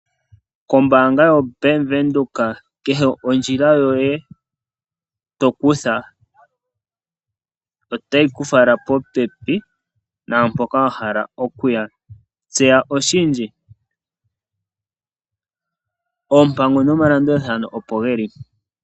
Kombaanga yo Bank Windhoek kehe ondjila yoye tokutha otayi ku fala popepi naampoka wa hala oku ya. Tseya oshindji oompango nomalandulathano opo geli.